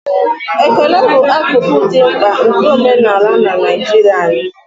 ekele bụ akụkụ dị mkpa nke omenala na njirimara anyị